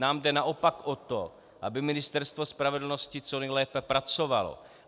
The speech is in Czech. Nám jde naopak o to, aby Ministerstvo spravedlnosti co nejlépe pracovalo.